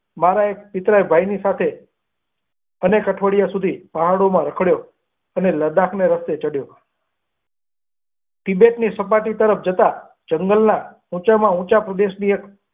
મારા મિત્ર સાથે અનેક અઠવાડિયા સુધી પહાડો માં રખડે અને લડાખ નો રસ્તો ચડે તિબેટ ની સામેથી તરફ જતા જંગલ માં ઉંચા માં ઉંચા પરદેશી ઓ.